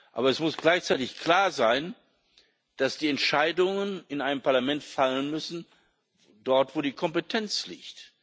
Aber es muss gleichzeitig klar sein, dass die Entscheidungen in einem Parlament dort fallen müssen, wo die Kompetenz liegt.